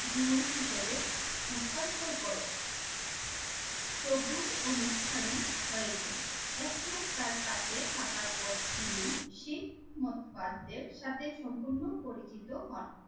গুরু হিসেবে হস্তান্তর করেন। প্রভুর অনুষ্ঠানি হয়েছেন একমাস তার কাছে থাকার পর তিনি শিখ মতবাদদের সাথে সম্পূর্ণ পরিচিত হন।